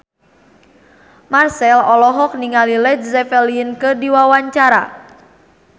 Marchell olohok ningali Led Zeppelin keur diwawancara